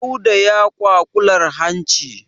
Dauda ya kwaƙular hanci.